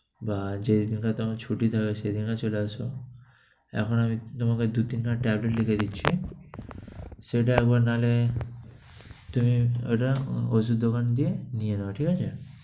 বা যেদিনটা তোমার ছুটি থাকে সেদিনটা তুমি চলে আসো। এখন আমি তোমাকে দু-তিনটা tablet লিখে দিচ্ছি, সেটা একবার নাহলে তুমি ঐটা ঔষধ দোকান গিয়ে নিয়ে নাও, ঠিক আছে?